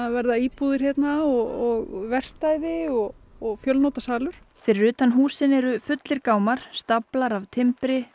verða íbúðir hér og verkstæði og og fjölnota salur fyrir utan húsin eru fullir gámar staflar af timbri